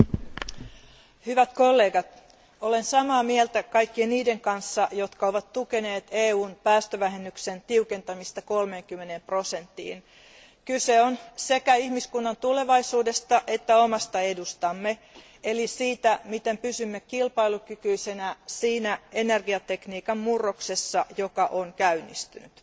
Arvoisa puhemies, hyvät kollegat, olen samaa mieltä kaikkien niiden kanssa, jotka ovat tukeneet EUn päästövähennyksen tiukentamista 30 prosenttiin Kyse on sekä ihmiskunnan tulevaisuudesta että omasta edustamme, eli siitä, miten pysymme kilpailukykyisenä siinä energiatekniikan murroksessa, joka on käynnistynyt.